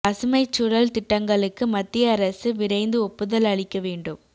பசுமைச் சூழல் திட்டங்களுக்கு மத்திய அரசு விரைந்து ஒப்புதல் அளிக்க வேண்டும்